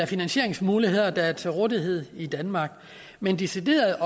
finansieringsmuligheder der er til rådighed i danmark men decideret